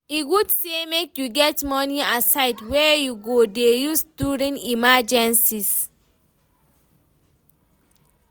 e good say make you get money aside wey you go dey use during emergencies